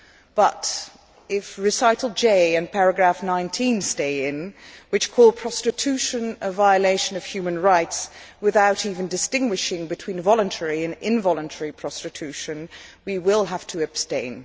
But if recital J and paragraph 19 stay in, which call prostitution a violation of human rights without even distinguishing between voluntary and involuntary prostitution, we will have to abstain.